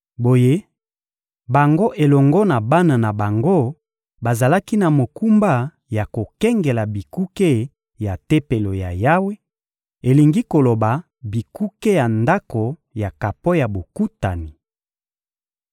Boye, bango elongo na bana na bango bazalaki na mokumba ya kokengela bikuke ya Tempelo ya Yawe; elingi koloba bikuke ya Ndako ya kapo ya Bokutani.